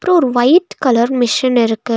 அப்றோ white colour machine இருக்கு.